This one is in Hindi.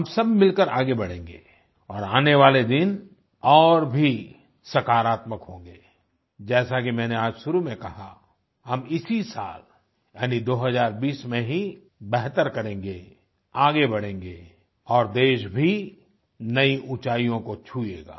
हम सबमिलकर आगे बढ़ेंगे और आने वाले दिन और भी सकारात्मक होंगे जैसा कि मैंने आज शुरू में कहा हम इसी साल यानि 2020 में ही बेहतर करेंगे आगे बढ़ेंगे और देश भी नई उंचाईयों को छुएगा